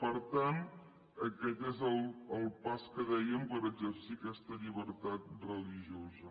per tant aquest és el pas que dèiem per exercir aquesta llibertat religiosa